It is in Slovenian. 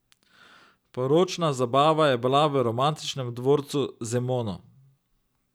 Poročna zabava je bila v romantičnem dvorcu Zemono.